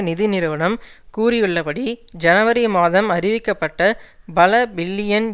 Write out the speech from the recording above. நிதி நிறுவனம் கூறியுள்ளபடி ஜனவரி மாதம் அறிவிக்கப்பட்ட பல பில்லியன்